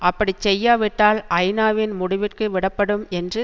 அப்படி செய்யாவிட்டால் ஐநாவின் முடிவிற்கு விடப்படும் என்று